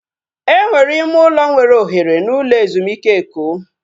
Enwere ime ụlọ nwere ohere n'ụlọ ezumike Eko?